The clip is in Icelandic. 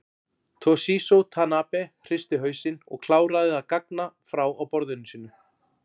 Toshizo Tanabe hristi hausinn og kláraði að gagna frá á borðinu sínu.